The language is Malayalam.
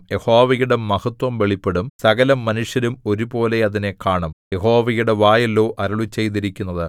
യഹോവയുടെ മഹത്ത്വം വെളിപ്പെടും സകലമനുഷ്യരും ഒരുപോലെ അതിനെ കാണും യഹോവയുടെ വായല്ലയോ അരുളിച്ചെയ്തിരിക്കുന്നത്